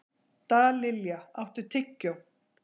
Dallilja, áttu tyggjó?